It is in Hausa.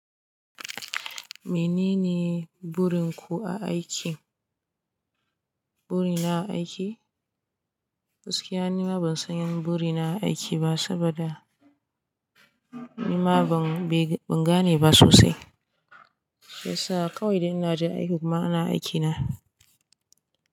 Menene burinku a aiki? Buri na a aiki? Gaskiya nima ban san buri na a aiki ba saboda nima ban be, ban gane ba sosai. Shiyasa kawai da ina jin aiki kuma ana aike na.